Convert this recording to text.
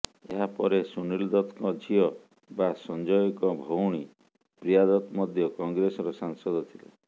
ଏହାପରେ ସୁନିଲ୍ ଦତ୍ତଙ୍କ ଝିଅ ବା ସଞ୍ଜୟଙ୍କ ଭଉଣୀ ପ୍ରିୟା ଦତ୍ତ ମଧ୍ୟ କଂଗ୍ରେସର ସାଂସଦ ଥିଲେ